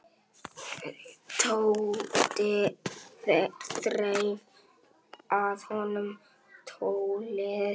Tóti þreif af honum tólið.